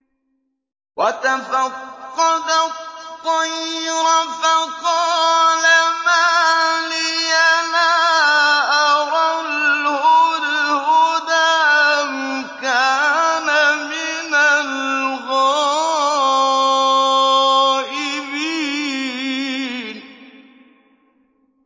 وَتَفَقَّدَ الطَّيْرَ فَقَالَ مَا لِيَ لَا أَرَى الْهُدْهُدَ أَمْ كَانَ مِنَ الْغَائِبِينَ